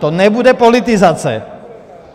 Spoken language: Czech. To nebude politizace?